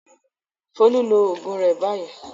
Folú lo oògùn rẹ báyìí!